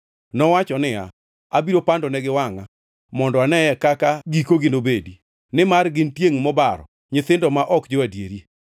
Nowacho niya, “Abiro pandonegi wangʼa” mondo aneye kaka gikogi nobedi, nimar gin tiengʼ mobaro, nyithindo ma ok jo-adieri,